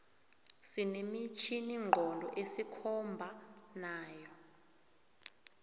sine mitjhini nqondo esikhomba nayo